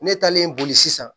Ne talen boli sisan